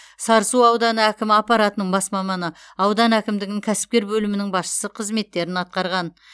сарысу ауданы әкімі аппаратының бас маманы аудан әкімдігінің кәсіпкер бөлімінің басшысы қызметтерін атқарған